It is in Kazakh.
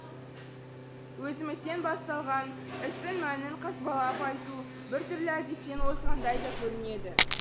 өзімізден басталған істің мәнін қазбалап айту біртүрлі әдеттен озғандай да көрінеді